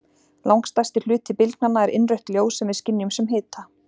Langstærsti hluti bylgnanna er innrautt ljós sem við skynjum sem hita.